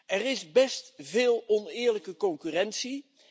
Er is best veel oneerlijke concurrentie.